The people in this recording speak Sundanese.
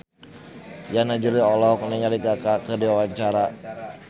Yana Julio olohok ningali Kaka keur diwawancara